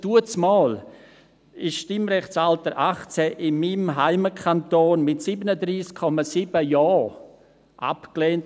Damals wurde das Stimmrechtsalter 18 in meinem Heimatkanton mit 37,7 Prozent Ja abgelehnt.